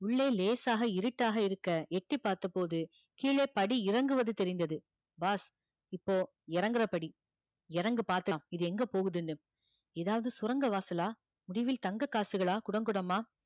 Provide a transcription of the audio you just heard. உள்ளே லேசாக இருட்டாக இருக்க எட்டிப் பார்த்தபோது கீழே படி இறங்குவது தெரிந்தது boss இப்போ இறங்குறபடி இறங்கு பாக்கலாம் இது எங்க போகுதுன்னு ஏதாவது சுரங்க வாசலா முடிவில் தங்க காசுகளா குடம் குடமா